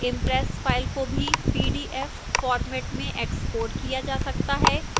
impress files को भी pdf format में exported किया जा सकता है